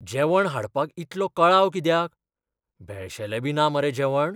जेवण हाडपाक इतलो कळाव कित्याक? बेळशेलेंबी ना मरे जेवण?